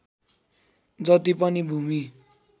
जति पनि भूमि